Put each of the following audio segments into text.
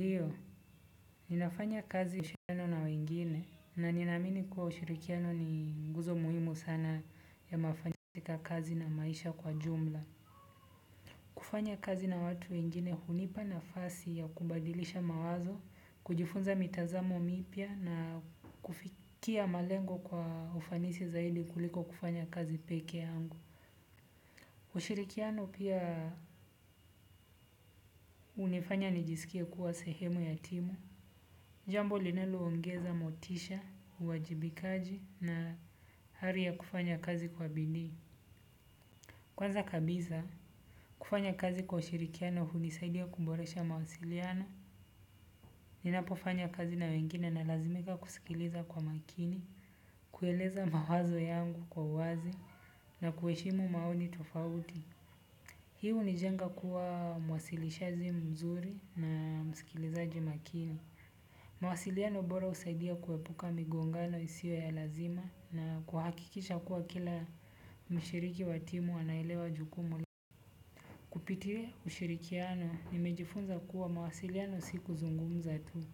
Ndio, ninafanya kazi ushirikiano na wengine, na ninamini kuwa ushirikiano ni nguzo muhimu sana ya mafanisi ka kazi na maisha kwa jumla. Kufanya kazi na watu wengine hunipa nafasi ya kubadilisha mawazo, kujifunza mitazamo mipya na kufikia malengo kwa ufanisi zaidi kuliko kufanya kazi pekee yangu. Ushirikiano pia hunifanya nijisikie kuwa sehemu ya timu. Jambo linaloongeza motisha, uwajibikaji na hari ya kufanya kazi kwa bidii. Kwanza kabisa, kufanya kazi kwa ushirikiano hunisaidia kumboresha mawasiliano. Ninapo fanya kazi na wengine na lazimika kusikiliza kwa maakini, kueleza mawazo yangu kwa uwazi na kuheshimu maoni tofauti. Hi hunijenga kuwa mwasilishaji mzuri na msikilizaji maakini. Mawasiliano bora husaidia kuepuka migongano isiyo ya lazima na kuhakikisha kuwa kila mshiriki wa timu anaelewa jukumu. Kupitia ushirikiano nimejifunza kuwa mwasiliano si kuzungumza tu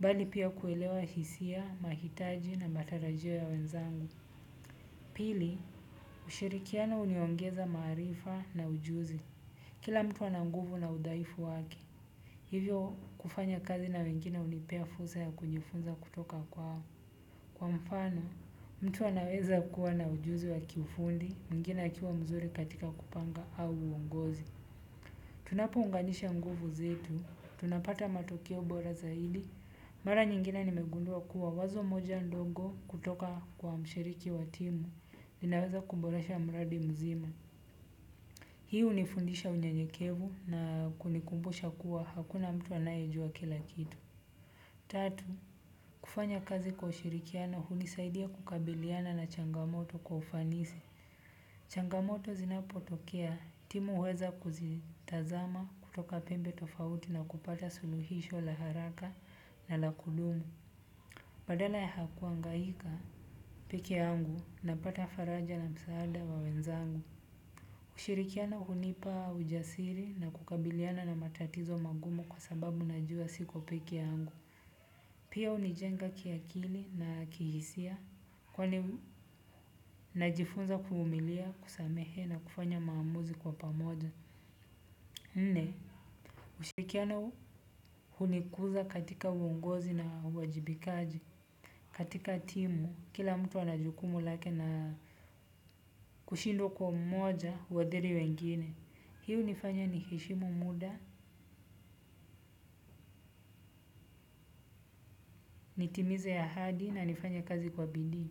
bali pia kuelewa hisia, mahitaji na matarajio ya wenzangu pili ushirikiano huniongeza maarifa na ujuzi kila mtu ana nguvu na udhaifu wake. Hivyo kufanya kazi na wengine hunipea fursa ya kujifunza kutoka kwao. Kwa mfano, mtu anaweza kuwa na ujuzi wa kiufundi, mwingine akiwa mzuri katika kupanga au uongozi. Tunapo unganisha nguvu zetu, tunapata matokeo bora zaidi, mara nyingine nimegundua kuwa wazo moja ndongo kutoka kwa mshiriki wa timu, linaweza kumboresha mradi mzima. Hii hunifundisha unyenyekevu na kunikumbusha kuwa hakuna mtu anayejua kila kitu. Tatu, kufanya kazi kwa ushirikiana hunisaidia kukabiliana na changamoto kwa ufanisi. Changamoto zinapotokea timu huweza kuzitazama kutoka pembe tofauti na kupata suluhisho la haraka na la kudumu. Badala ya hakuhangaika pekee yangu napata faraja na msaada wa wenzangu. Kushirikiana hunipa ujasiri na kukabiliana na matatizo magumo kwa sababu najua siko pekee yangu. Pia hunijenga kiakili na kihisia kwa ni najifunza kuvumilia, kusamehea na kufanya maamuzi kwa pamoja. Nne, ushirikiano hunikuza katika uongozi na uwajibikaji. Katika timu, kila mtu anajukumu lake na kushindwa kwa mmoja huadhiri wengine. Hii hunifanya niheshimu muda, nitimize ahadi na nifanye kazi kwa bidii.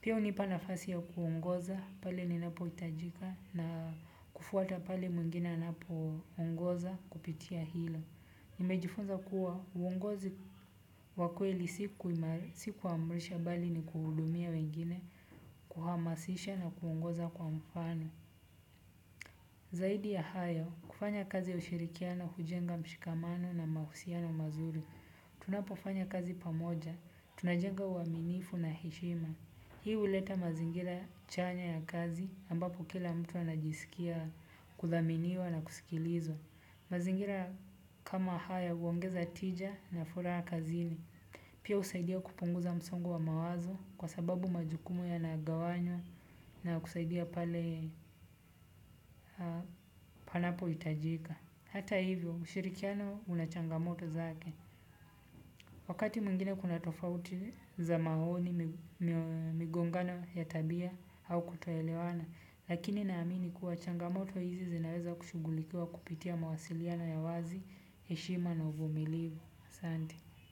Pia hunipa nafasi ya kuongoza pale ninapo hitajika na kufuata pale mwingine anapo ongoza kupitia hilo. Nimejifunza kuwa uongozi wa kweli si kuamrisha bali ni kuhudumia wengine kuhamasisha na kuongoza kwa mfano. Zaidi ya hayo, kufanya kazi ya ushirikiano hujenga mshikamano na mahusiano mazuri. Tunapofanya kazi pamoja, tunajenga uaminifu na heshima. Hii huleta mazingira chanya ya kazi ambapo kila mtu anajisikia kuthaminiwa na kusikilizwa. Mazingira kama haya huongeza tija na furaha kazini. Pia husaidia kupunguza msongo wa mawazo kwa sababu majukumu ya nagawanywa na kusaidia pale panapo hitajika. Hata hivyo ushirikiano unachangamoto zake. Wakati mwingine kuna tofauti za maoni, migongano ya tabia au kutoelewana, lakini naamini kuwa changamoto hizi zinaweza kushugulikua kupitia mawasiliano ya wazi, heshima na uvumilivu. Asante.